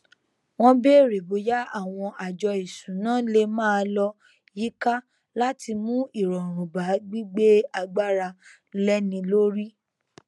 wọn bèrè bóyá àwọn àjọ ìṣúná lè máa lọ yíká láti mú ìrọrùn bá gbígbé agbára léni lórí